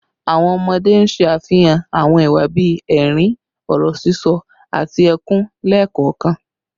Awọn ọmọde n ṣe afihan awọn iwa bii ẹrin, ọrọ sisọ, ati ẹkun lẹẹkọọkan